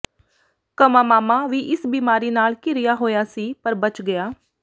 ਕਮਾਮਾਮਾ ਵੀ ਇਸ ਬਿਮਾਰੀ ਨਾਲ ਘਿਰਿਆ ਹੋਇਆ ਸੀ ਪਰ ਬਚ ਗਿਆ